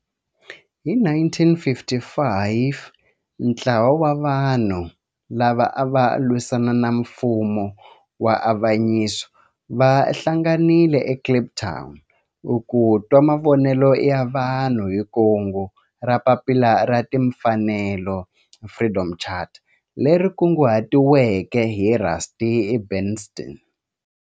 Hi 1955 ntlawa wa vanhu lava ava lwisana na nfumo wa avanyiso va hlanganile eKliptown ku twa mavonelo ya vanhu hi kungu ra Papila ra Timfanelo, Freedom Charter, leri kunguhatiweke hi Rusty Bernstein.